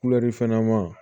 fɛn ɲɛnama